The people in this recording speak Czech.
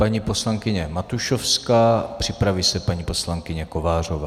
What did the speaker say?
Paní poslankyně Matušovská, připraví se paní poslankyně Kovářová.